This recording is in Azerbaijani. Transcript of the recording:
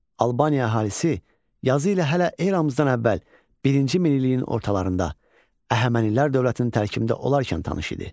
Albaniya əhalisi yazı ilə hələ eramızdan əvvəl birinci minilliyin ortalarında Əhəmənilər dövlətinin tərkibində olarkən tanış idi.